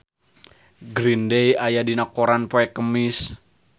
Green Day aya dina koran poe Kemis